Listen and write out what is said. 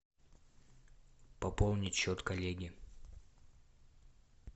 пополнить счет коллеги